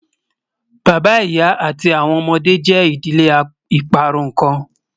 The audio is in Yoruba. Bàbá, ìyà, àti awọn ọmọde jẹ́ ìdílé ìparún kan